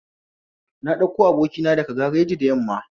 Na ɗauko abokina daga gareji da yamma